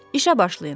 İşə başlayın.